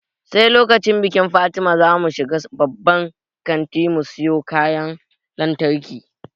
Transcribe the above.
Sai lokacin bikin fatima zamu shiga babban kanti mu siyo kayan lantarki